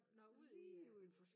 Nå ud i